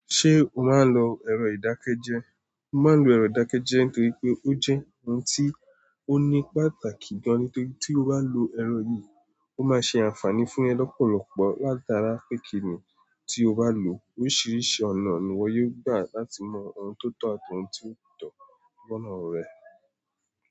Ṣé o máa ń lo ẹ̀rọ ìdákẹ́jẹ́? Mo máa ń lo ẹ̀rọ ìdákẹ́jẹ́ nítorí pé ó jẹ́ ohun tí ó ní pàtàkì gan, nítorí tí o bá lo ẹ̀rọ yìí, ó máa ṣe àǹfààní fún ẹ lọ́pọ̀lọpọ̀. Látára pẹ́kínì tí o bá lò ó, oríṣiríṣi ọ̀nà ni ìwọ yóò gbà láti mọ ohun tó tọ̀ àti ohun tí kò tọ́ gbọ́nà ọ rẹ.